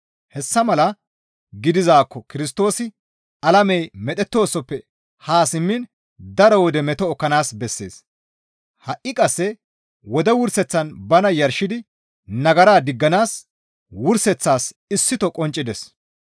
Hessa mala gidizaakko Kirstoosi alamey medhettoosoppe haa simmiin daro wode meto ekkanaas bessees; ha7i qasse wode wurseththan bana yarshidi nagara digganaas wurseththas issito qonccides.